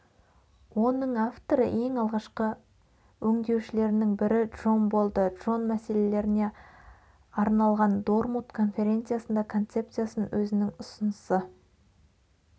оның авторы ең алғашқы өңдеушілерінің бірі джон болды джон мәселелеріне арналған дормут конференциясында концепциясын өзінің ұсынысы